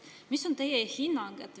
Mis on teie hinnang?